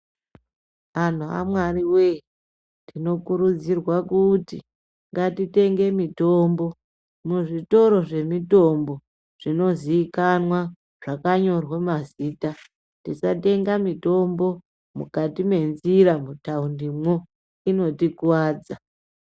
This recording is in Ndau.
Antu amwari wee tinokurudzirwa kuti ngatitenge mitombo kuzvitoro zvemitombo zvinozivikanwa zvakanyorwa mazita, tisatenge mitombo mukati menzira mutaundimo, unotikuvadza.